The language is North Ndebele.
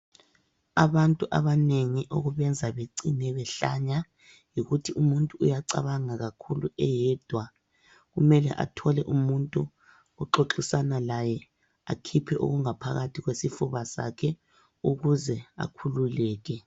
Abantu abanengi okubenza becine behlanya , yikuthi umuntu uyacabanga kakhulu eyedwa. Kumele athole umuntu oxoxisana laye ,akhiphe okungaphakathi kwesifuba sakhe ukuze akhululeke.